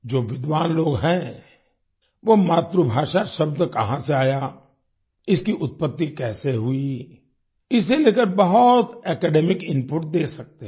जो विद्वान लोग हैं वो मातृभाषा शब्द कहाँ से आया इसकी उत्त्पति कैसे हुई इसे लेकर बहुत एकेडमिक इनपुट दे सकते हैं